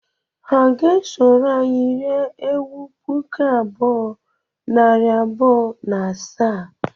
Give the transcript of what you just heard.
Ha ga-esoro anyị rie ewu puku abụọ, nari abụọ na asaa?